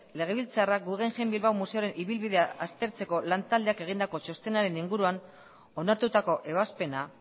legebiltzarrak guggenheim bilbao museoaren ibilbidea aztertzeko lan taldeak egindako txostenaren inguruan onartutako ebazpena